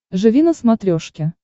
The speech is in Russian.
живи на смотрешке